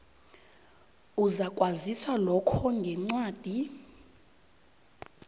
uzakwaziswa lokho ngencwadi